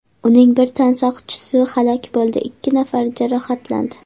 Uning bir tansoqchisi halok bo‘ldi, ikki nafari jarohatlandi.